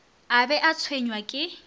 a be a tshwenywa ke